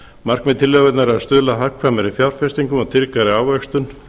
markmið tilskipunarinnar er að stuðla að hagkvæmum fjárfestingum og tryggri ávöxtun